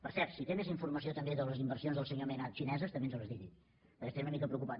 per cert si té més informació també de les inversions del senyor mena xineses que també ens les digui perquè ens tenen una mica preocupats